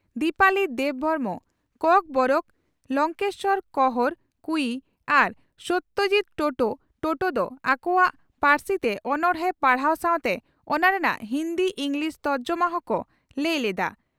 ᱫᱤᱯᱟᱞᱤ ᱫᱮᱵᱽᱵᱷᱚᱨᱢᱚ (ᱠᱚᱠᱵᱚᱨᱚᱠ) ᱞᱚᱝᱠᱮᱥᱚᱨ ᱠᱚᱸᱦᱚᱨ (ᱠᱩᱭᱤ) ᱟᱨ ᱥᱚᱛᱭᱚᱡᱤᱛ ᱴᱚᱴᱚ (ᱴᱚᱴᱚ) ᱫᱚ ᱟᱠᱚ ᱟᱠᱚᱣᱟᱜ ᱯᱟᱹᱨᱥᱤᱛᱮ ᱚᱱᱚᱬᱦᱮ ᱯᱟᱲᱦᱟᱣ ᱥᱟᱣᱛᱮ ᱚᱱᱟ ᱨᱮᱱᱟᱜ ᱦᱤᱱᱫᱤ/ᱤᱸᱜᱽᱞᱤᱥ ᱛᱚᱨᱡᱚᱢᱟ ᱦᱚᱸᱠᱚ ᱞᱟᱹᱭ ᱞᱮᱰᱼᱟ ᱾